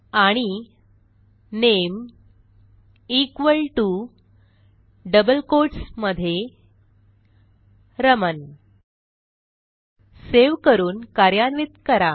आणि नामे equal to double quotes मधे रमण सेव्ह करून कार्यान्वित करा